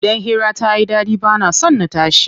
Idan hira tayi ɗaɗi bana son na tashi.